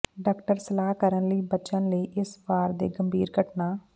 doctor ਸਲਾਹ ਕਰਨ ਲਈ ਬਚਣ ਲਈ ਇਸ ਵਾਰ ਦੇ ਗੰਭੀਰ ਘਟਨਾ